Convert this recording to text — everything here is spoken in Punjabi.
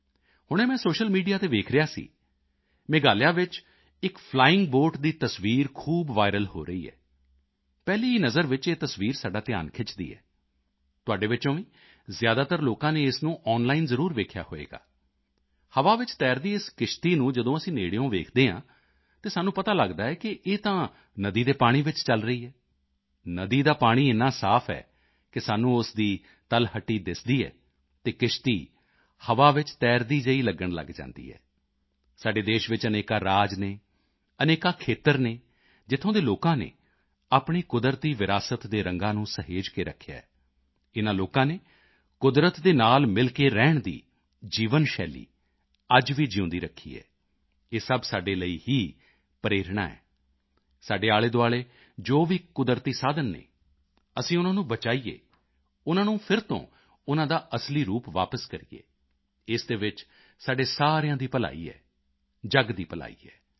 ਹੁਣੇ ਮੈਂ ਸੋਸ਼ੀਅਲ ਮੀਡੀਆ ਤੇ ਵੇਖ ਰਿਹਾ ਸੀ ਮੇਘਾਲਿਆ ਵਿੱਚ ਇੱਕ ਫਲਾਇੰਗ ਬੋਟ ਦੀ ਤਸਵੀਰ ਖੂਬ ਵਾਇਰਲ ਹੋ ਰਹੀ ਹੈ ਪਹਿਲੀ ਹੀ ਨਜ਼ਰ ਵਿੱਚ ਇਹ ਤਸਵੀਰ ਸਾਡਾ ਧਿਆਨ ਖਿੱਚਦੀ ਹੈ ਤੁਹਾਡੇ ਵਿੱਚੋਂ ਵੀ ਜ਼ਿਆਦਾਤਰ ਲੋਕਾਂ ਨੇ ਇਸ ਨੂੰ ਆਨਲਾਈਨ ਜ਼ਰੂਰ ਵੇਖਿਆ ਹੋਵੇਗਾ ਹਵਾ ਵਿੱਚ ਤੈਰਦੀ ਇਸ ਕਿਸ਼ਤੀ ਨੂੰ ਜਦੋਂ ਅਸੀਂ ਨੇੜਿਓਂ ਦੇਖਦੇ ਹਾਂ ਤਾਂ ਸਾਨੂੰ ਪਤਾ ਲਗਦਾ ਹੈ ਕਿ ਇਹ ਤਾਂ ਨਦੀ ਦੇ ਪਾਣੀ ਵਿੱਚ ਚਲ ਰਹੀ ਹੈ ਨਦੀ ਦਾ ਪਾਣੀ ਏਨਾ ਸਾਫ ਹੈ ਕਿ ਸਾਨੂੰ ਉਸ ਦੀ ਤਲਹੱਟੀ ਦਿਸਦੀ ਹੈ ਅਤੇ ਕਿਸ਼ਤੀ ਹਵਾ ਵਿੱਚ ਤੈਰਦੀ ਜਿਹੀ ਲਗਣ ਲਗ ਜਾਂਦੀ ਹੈ ਸਾਡੇ ਦੇਸ਼ ਵਿੱਚ ਅਨੇਕਾਂ ਰਾਜ ਹਨ ਅਨੇਕਾਂ ਖੇਤਰ ਹਨ ਜਿੱਥੋਂ ਦੇ ਲੋਕਾਂ ਨੇ ਆਪਣੀ ਕੁਦਰਤੀ ਵਿਰਾਸਤ ਦੇ ਰੰਗਾਂ ਨੂੰ ਸਹੇਜ ਕੇ ਰੱਖਿਆ ਹੈ ਇਨ੍ਹਾਂ ਲੋਕਾਂ ਨੇ ਕੁਦਰਤ ਦੇ ਨਾਲ ਮਿਲ ਕੇ ਰਹਿਣ ਦੀ ਜੀਵਨ ਸ਼ੈਲੀ ਅੱਜ ਵੀ ਜਿਊਂਦੀ ਰੱਖੀ ਹੈ ਇਹ ਸਭ ਸਾਡੇ ਲਈ ਹੀ ਪ੍ਰੇਰਣਾ ਹੈ ਸਾਡੇ ਆਲ਼ੇਦੁਆਲ਼ੇ ਜੋ ਵੀ ਕੁਦਰਤੀ ਸਾਧਨ ਹਨ ਅਸੀਂ ਉਨ੍ਹਾਂ ਨੂੰ ਬਚਾਈਏ ਉਨ੍ਹਾਂ ਨੂੰ ਫਿਰ ਤੋਂ ਉਨ੍ਹਾਂ ਦਾ ਅਸਲੀ ਰੂਪ ਵਾਪਸ ਕਰੀਏ ਇਸ ਦੇ ਵਿੱਚ ਸਾਡੇ ਸਾਰਿਆਂ ਦੀ ਭਲਾਈ ਹੈ ਜਗ ਦੀ ਭਲਾਈ ਹੈ